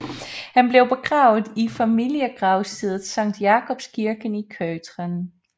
Han blev begravet i familiegravstedet Sankt Jakobs Kirken i Köthen